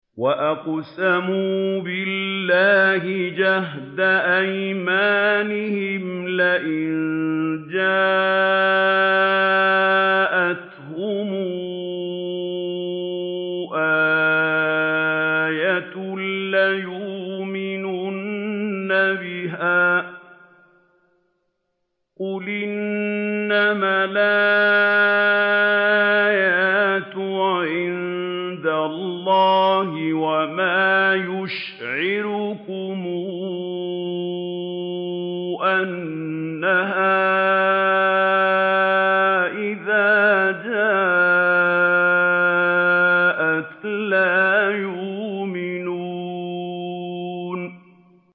وَأَقْسَمُوا بِاللَّهِ جَهْدَ أَيْمَانِهِمْ لَئِن جَاءَتْهُمْ آيَةٌ لَّيُؤْمِنُنَّ بِهَا ۚ قُلْ إِنَّمَا الْآيَاتُ عِندَ اللَّهِ ۖ وَمَا يُشْعِرُكُمْ أَنَّهَا إِذَا جَاءَتْ لَا يُؤْمِنُونَ